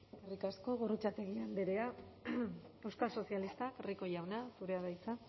eskerrik asko gorrotxategi andrea euskal sozialistak rico jauna zurea da hitza